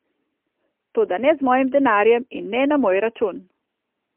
Toda ne z mojim denarjem in ne na moj račun.